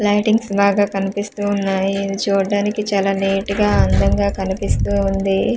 Lightings బాగా కనిపిస్తూ ఉన్నాయి. ఇది చూడ్డానికి చాలా నీట్ గా అందంగా కనిపిస్తూ ఉంది.